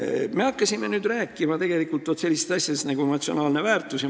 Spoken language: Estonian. Me hakkasime nüüd rääkima ka sellistest asjadest nagu emotsionaalne väärtus.